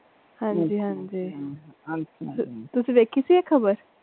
ਹਾਂਜੀ ਹਾਂਜੀ ਤੁਸੀਂ ਵੇਖੀ ਸੀ ਇਹ ਖਬਰ?